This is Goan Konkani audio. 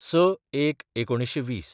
०६/०१/१९२०